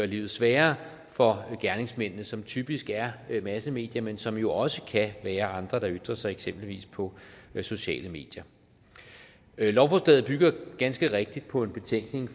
livet sværere for gerningsmændene som typisk er massemedier men som jo også kan være andre der ytrer sig eksempelvis på sociale medier lovforslaget bygger ganske rigtigt på en betænkning